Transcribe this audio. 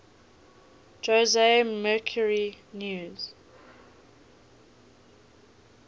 jose mercury news